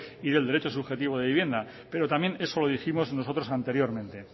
y del derecho subjetivo de vivienda pero también eso lo dijimos nosotros anteriormente